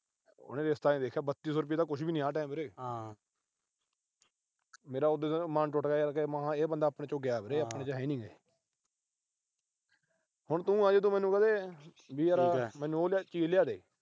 ਉਹਨੇ ਰਿਸ਼ਤਾ ਨੀ ਦੇਖਿਆ, ਬੱਤੀ ਸੌ ਤਾਂ ਆ time ਕੁਛ ਨੀ ਵੀਰੇ। ਮੇਰਾ ਉਦੇ ਦਾ ਮਨ ਟੁੱਟ ਗਿਆ ਯਾਰ, ਇਹ ਬੰਦਾ ਆਪਣੇ ਚੋਂ ਗਿਆ ਵੀਰੇ, ਆਪਣੇ ਚ ਹੈ ਨੀ ਇਹ। ਹੁਣ ਤੂੰ ਆ, ਜੇ ਤੂੰ ਮੈਨੂੰ ਕਹਿ ਦੇ ਵੀ ਯਾਰ ਮੈਨੂੰ ਉਹ ਚੀਜ ਲਿਆ ਦੇ।